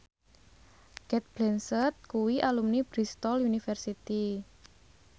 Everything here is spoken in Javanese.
Cate Blanchett kuwi alumni Bristol university